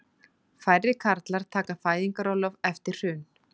Færri karlar taka fæðingarorlof eftir hrun